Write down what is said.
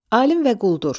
Alim və quldur.